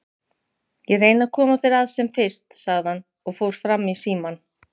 Ég reyni að koma þér að sem fyrst, sagði hann og fór fram í símann.